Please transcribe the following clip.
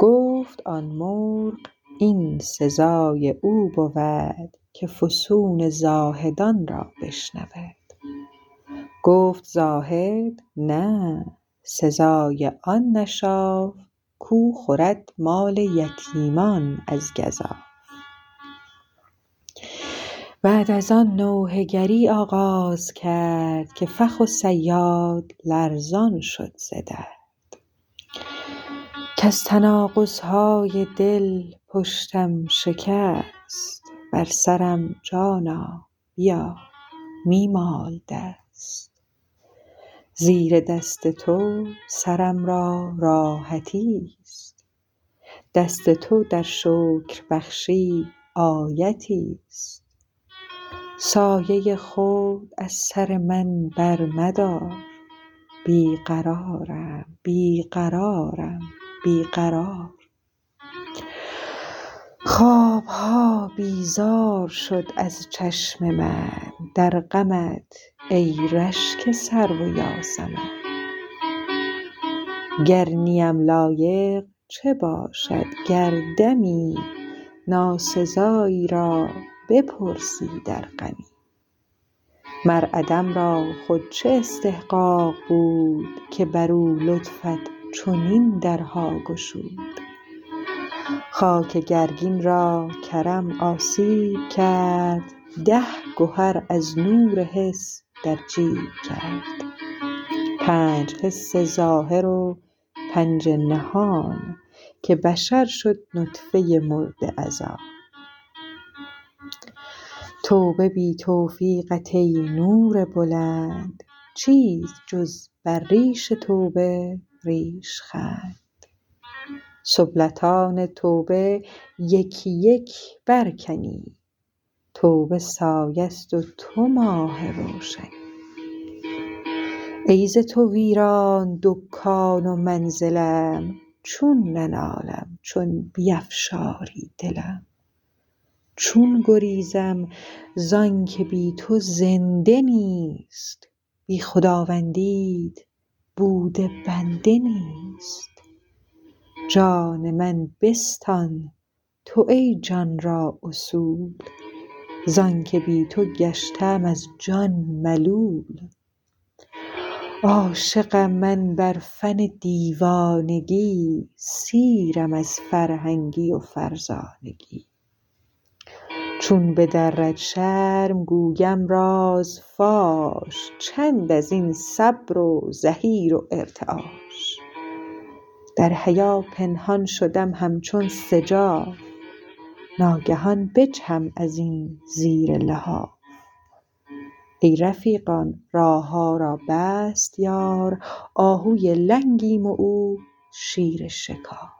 گفت آن مرغ این سزای او بود که فسون زاهدان را بشنود گفت زاهد نه سزای آن نشاف کو خورد مال یتیمان از گزاف بعد از آن نوحه گری آغاز کرد که فخ و صیاد لرزان شد ز درد کز تناقضهای دل پشتم شکست بر سرم جانا بیا می مال دست زیر دست تو سرم را راحتیست دست تو در شکربخشی آیتیست سایه خود از سر من برمدار بی قرارم بی قرارم بی قرار خوابها بیزار شد از چشم من در غمت ای رشک سرو و یاسمن گر نیم لایق چه باشد گر دمی ناسزایی را بپرسی در غمی مر عدم را خود چه استحقاق بود که برو لطفت چنین درها گشود خاک گرگین را کرم آسیب کرد ده گهر از نور حس در جیب کرد پنج حس ظاهر و پنج نهان که بشر شد نطفه مرده از آن توبه بی توفیقت ای نور بلند چیست جز بر ریش توبه ریش خند سبلتان توبه یک یک بر کنی توبه سایه ست و تو ماه روشنی ای ز تو ویران دکان و منزلم چون ننالم چون بیفشاری دلم چون گریزم زانک بی تو زنده نیست بی خداوندیت بود بنده نیست جان من بستان تو ای جان را اصول زانک بی تو گشته ام از جان ملول عاشقم من بر فن دیوانگی سیرم از فرهنگی و فرزانگی چون بدرد شرم گویم راز فاش چند ازین صبر و زحیر و ارتعاش در حیا پنهان شدم هم چون سجاف ناگهان بجهم ازین زیر لحاف ای رفیقان راهها را بست یار آهوی لنگیم و او شیر شکار